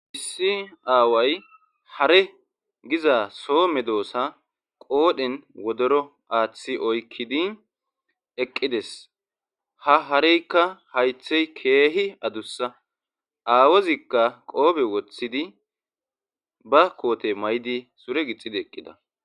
Issi aaway hare giza so medoosa qoodhen wodoro aaththi oykkidi eqqi des; ha hareekka hayththay keehi adussa; aawozikka qophe woththidi ba koothe mayidi sure gixxidi eqqida.